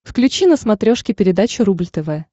включи на смотрешке передачу рубль тв